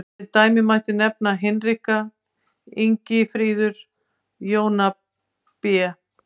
Sem dæmi mætti nefna Hinrika, Ingifríður, Jónadab.